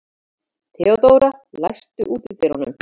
Theodóra, læstu útidyrunum.